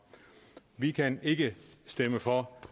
vi kan ikke stemme for